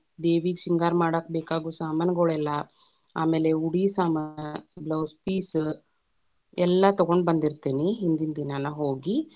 ದೇವಿಗ ಶೃಂಗಾರ ಮಾಡಾಕ ಬೇಕಾಗುವ ಸಾಮಾನುಗುಳೆಲ್ಲಾ, ಆಮೇಲೆ ಉಡಿ ಸಾಮಾನ, blouse piece ಎಲ್ಲಾ ತಗೊಂಡ ಬಂದಿತೇ೯ನಿ ಹಿಂದಿನ್ ದಿನಾನ ಹೋಗಿ.